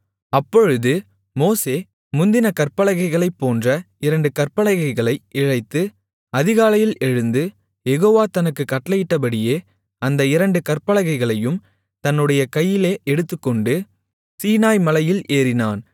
அப்பொழுது மோசே முந்தின கற்பலகைகளைப் போன்ற இரண்டு கற்பலகைகளை இழைத்து அதிகாலையில் எழுந்து யெகோவா தனக்குக் கட்டளையிட்டபடியே அந்த இரண்டு கற்பலகைகளையும் தன்னுடைய கையிலே எடுத்துக்கொண்டு சீனாய் மலையில் ஏறினான்